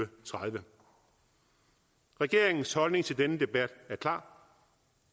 tredive regeringens holdning til denne debat er klar